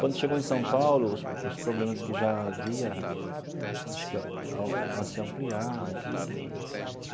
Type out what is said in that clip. Quando chegou em São Paulo, os os problemas que já havia acho que se ampliaram tudo.